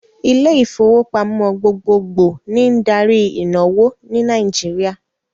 Ilé ìfowópamọ́ gbogbogbò ni n darí ìnáwó ní Nàìjíríà